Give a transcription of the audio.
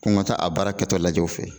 Ko ni ka taa a baara kɛtɔ lajɛ u fɛ yen.